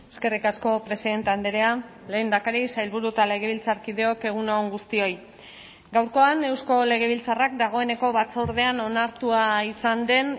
eskerrik asko presidente andrea lehendakari sailburu eta legebiltzarkideok egun on guztioi gaurkoan eusko legebiltzarrak dagoeneko batzordean onartua izan den